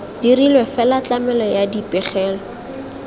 dirilwe fela tlamelo ya dipegelo